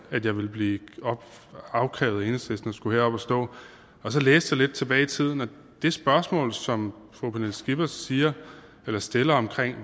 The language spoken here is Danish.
at jeg ville blive afkrævet af enhedslisten at skulle herop og stå og så læste jeg lidt tilbage i tiden og det spørgsmål som fru pernille skipper stiller stiller om